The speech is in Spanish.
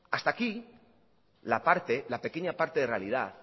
hasta aquí la parte la pequeña parte de realidad